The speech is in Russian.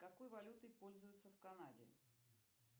какой валютой пользуются в канаде